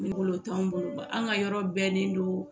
Ne bolo o t'anw bolo an ka yɔrɔ bɛnnen don